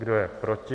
Kdo je proti?